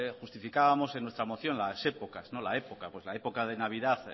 justificábamos en nuestra moción las épocas la época de navidad